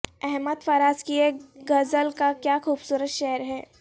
احمد فراز کی ایک غزل کا کیا خوبصورت شعر ہے